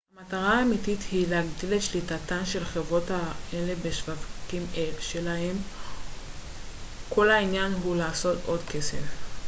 המטרה האמיתית היא להגדיל את שליטתן של חברות אלה בשווקים שלהן כל העניין הוא לעשות עוד כסף